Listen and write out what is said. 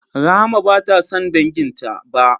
Rahama bata san danginta ba